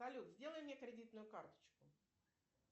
салют сделай мне кредитную карточку